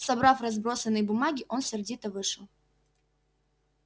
собрав разбросанные бумаги он сердито вышел